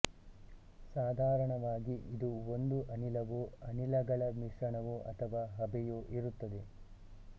ಸಾಧಾರಣವಾಗಿ ಇದು ಒಂದು ಅನಿಲವೋ ಅನಿಲಗಳ ಮಿಶ್ರಣವೋ ಅಥವಾ ಹಬೆಯೋ ಇರುತ್ತದೆ